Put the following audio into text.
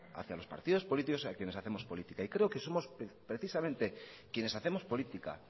hacia los partidos políticos a quienes hacemos política y creo que somos precisamente quienes hacemos política